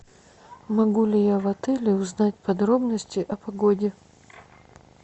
могу ли я в отеле узнать подробности о погоде